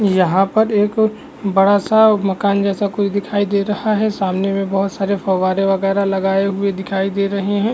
यहाँ पर एक बड़ा सा मकान जैसा कुछ दिखाई दे रहा है। सामने में बहोत सारे फ़ौवारे वगेरा लगाये हुए दिखाई दे रहें हैं।